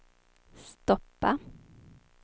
stoppa